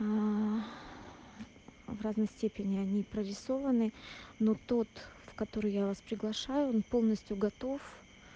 в равной степени они прорисованы но тот в который я вас приглашаю он полностью готов